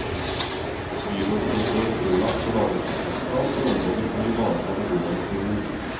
Byrådet ble i går pålagt å lage en trafikkplan for området for å ivareta beboernes behov.